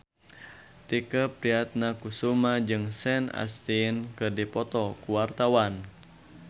Tike Priatnakusuma jeung Sean Astin keur dipoto ku wartawan